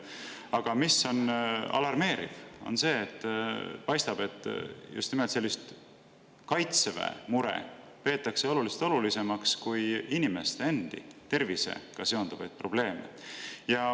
Aga alarmeeriv on see, et paistab, et just nimelt sellist Kaitseväe muret peetakse olulisemaks kui inimeste tervisega seonduvaid probleeme.